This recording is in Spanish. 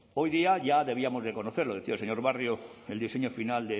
hoy día ya debíamos conocer decía el señor barrio el diseño final